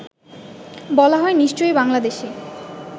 বলা হয় নিশ্চয়ই বাংলাদেশী